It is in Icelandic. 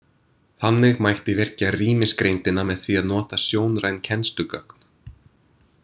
Þannig mætti virkja rýmisgreindina með því að nota sjónræn kennslugögn.